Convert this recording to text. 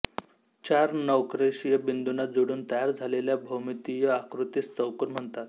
चार नैकरेषीय बिंदुना जोडून तयार झालेल्या भोमितीय आकृतीस चौकोन म्हणतात